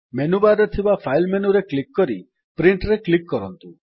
menu bar ରେ ଥିବା file ମେନୁରେ କ୍ଲିକ୍ କରି Printରେ କ୍ଲିକ୍ କରନ୍ତୁ